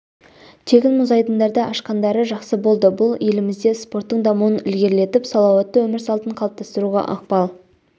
тегін мұз айдындарды ашқандары жақсы болды бұл елімізде спорттың дамуын ілгерілетіп салауатты өмір салтын қалыптастыруға ықпал